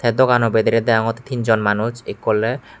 dogano bidiri degogotte teenjon manuj ekku oley.